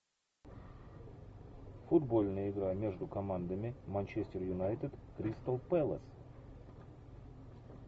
футбольная игра между командами манчестер юнайтед кристал пэлас